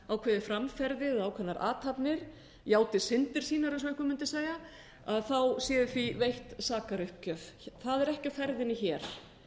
ákveðið framferði eða ákveðnar athafnir játi syndir sínar ef svo mætti segja þá sé því veitt sakaruppgjöf það er ekki á ferðinni hér